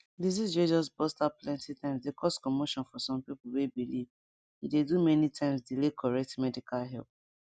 disease way just burst out plenty times dey cause commotion for some pipo way believe e dey do many times delay correct medical help